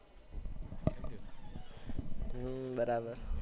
હમ્મ બરાબર